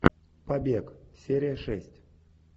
побег серия шесть